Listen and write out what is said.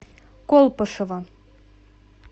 колпашево